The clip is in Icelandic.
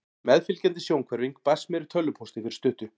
Meðfylgjandi sjónhverfing barst mér í tölvupósti fyrir stuttu.